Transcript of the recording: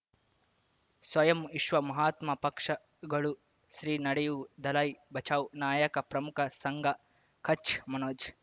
ಸ್ವಯಂ ವಿಶ್ವ ಮಹಾತ್ಮ ಪಕ್ಷಗಳು ಶ್ರೀ ನಡೆಯೂ ದಲೈ ಬಚೌ ನಾಯಕ ಪ್ರಮುಖ ಸಂಘ ಕಚ್ ಮನೋಜ್